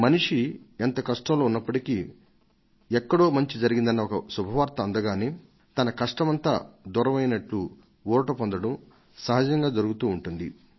మనిషి ఎంత కష్టంలో ఉన్నప్పటికీ ఎక్కడో మంచి జరిగిందన్న ఒక శుభ వార్త అందగానే తన కష్టమంతా దూరమైయిందన్నట్టు ఊరట పొందడం సహజంగా జరుగుతూ ఉంటుంది